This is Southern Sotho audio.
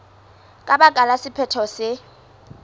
ka baka la sephetho se